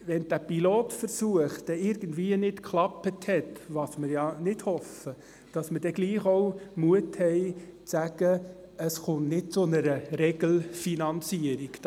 Sollte dieser Pilotversuch nicht erfolgreich sein, was wir ja nicht hoffen, müssten wir auch den Mut haben, von einer Regelfinanzierung abzusehen.